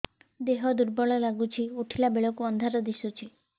ଦେହ ଦୁର୍ବଳ ଲାଗୁଛି ଉଠିଲା ବେଳକୁ ଅନ୍ଧାର ଦିଶୁଚି